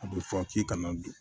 A bɛ fɔ k'i kana don